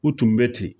U tun bɛ ten